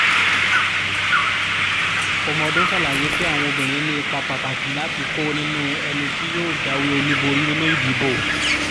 fọmọdún ṣàlàyé pé àwọn obìnrin ní ipa pàtàkì láti kó nínú ẹni tí yóò jáwé olúborí nínú ìdìbò